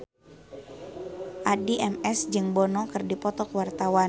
Addie MS jeung Bono keur dipoto ku wartawan